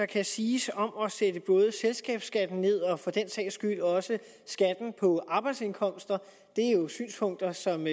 kan siges om at sætte både selskabsskatten ned og for den sags skyld også skatten på arbejdsindkomster det er jo synspunkter som